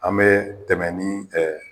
An bɛ tɛmɛ ni ɛ